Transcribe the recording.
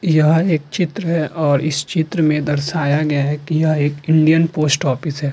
यह एक चित्र है और इस चित्र में दर्शाया गया है की यह एक इंडियन पोस्ट ऑफिस है।